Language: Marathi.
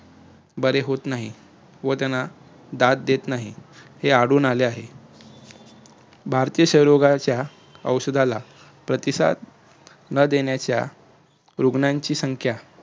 बरे होत नाही व त्याना दाद देत नाही, हे आढळून आले आहे. भारतीय क्षय रोगाच्या औषधाला प्रतिसाद ना देण्याच्या रुग्णांची संख्या